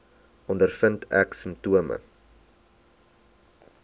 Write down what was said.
ondervind ek simptome